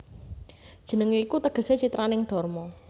Jenengé iku tegesé citraning dharma